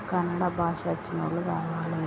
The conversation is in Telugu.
కర్ణాడ బాషా వచ్చిన వారు రండి.